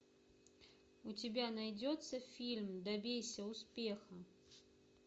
у тебя найдется фильм добейся успеха